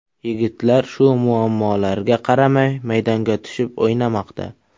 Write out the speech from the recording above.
Yigitlar shu muammolarga qaramay maydonga tushib o‘ynamoqda.